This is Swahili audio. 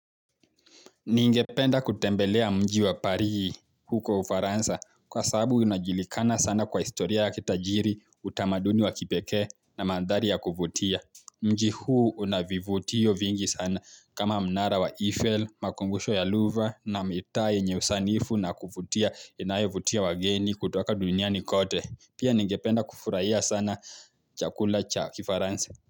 Ningependa kutembelea mji wa paris huko ufaransa kwa sababu unajulikana sana kwa historia ya kitajiri utamaduni wa kipekee na mandhari ya kuvutia. Mji huu una vivutio vingi sana kama mnara wa Eiffel, makumbusho ya Louvre na mitaa yenye usanifu na kuvutia inayovutia wageni kutoka duniani kote. Pia ningependa kufurahia sana chakula cha kifaransa.